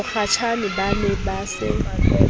mokgatjhane ba ne ba se